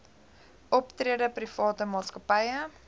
optrede private maatskappye